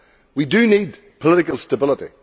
We do need political stability.